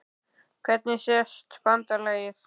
Hvernig sést BANDALAGIÐ?